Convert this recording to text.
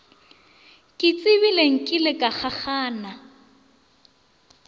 ke tsebile nkile ka kgakgana